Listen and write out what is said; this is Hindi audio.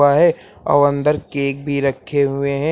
और अंदर केक भी रखे हुए हैं।